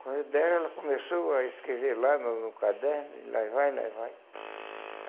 Quando deram, ela começou a escrever lá no no caderno, e lá vai, lá vai.